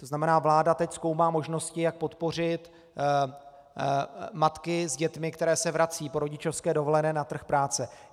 To znamená, vláda teď zkoumá možnosti, jak podpořit matky s dětmi, které se vracejí po rodičovské dovolené na trh práce.